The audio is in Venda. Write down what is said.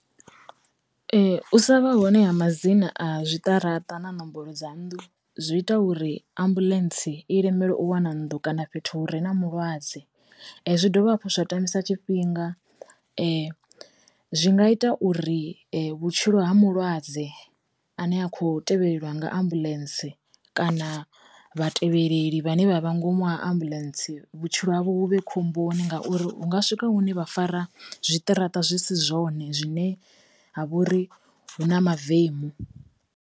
U sa vha hone ha madzina a zwi ṱaraṱa na nomboro dza nnḓu, zwi ita uri ambuḽentse i lemelwe u wana nnḓu kana fhethu hure na mulwadze, zwi dovha hafhu zwa tambisa tshifhinga, zwi nga ita uri vhutshilo ha mulwadze ane a kho tevhelela nga ambuḽentse kana vha tevhelelei vhane vha vha ngomu ha ambuḽentse vhutshilo havho hu vhe khomboni ngauri hunga swika hune vha fara zwiṱaraṱa zwi si zwone zwine ha vha uri hu na mavemu.